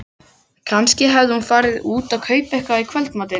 Kannski hafði hún farið út að kaupa eitthvað í kvöldmatinn.